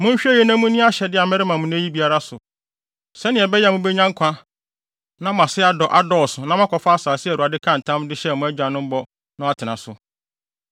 Monhwɛ yiye na munni ahyɛde a merema mo nnɛ yi biara so, sɛnea ɛbɛyɛ a mubenya nkwa na mo ase adɔ dɔɔso na moakɔfa asase a Awurade kaa ntam de hyɛɛ mo agyanom bɔ no atena so.